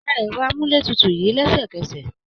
Pa ẹ̀rọ amúlétutù yìí lẹ́sẹ̀kẹsẹ̀.